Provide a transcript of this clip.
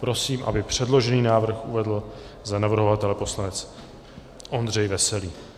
Prosím, aby předložený návrh uvedl za navrhovatele poslanec Ondřej Veselý.